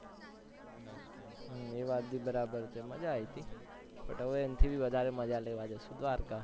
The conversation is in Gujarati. હમ એ વાત બી બરાબર છે મજા આઈ તી but હવે એના થી વધારે મજા લેવા જઈશું દ્વારકા